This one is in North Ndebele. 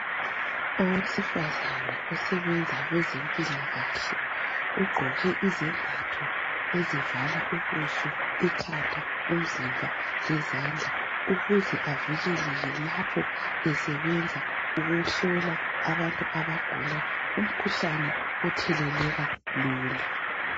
Owesifazane osebenza kwezempilakahle , ugqoke izembatho ezivala ubuso, ikhanda, umzimba lezandla ukuze avikeleke lapho esebenza ukuhlola abantu abagula umkhuhlane otheleleka lula.